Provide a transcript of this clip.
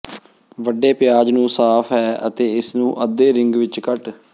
ਵੱਡੇ ਪਿਆਜ਼ ਨੂੰ ਸਾਫ਼ ਹੈ ਅਤੇ ਇਸ ਨੂੰ ਅੱਧੇ ਰਿੰਗ ਵਿੱਚ ਕੱਟ